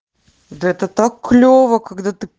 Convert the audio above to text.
да это так клёво когда ты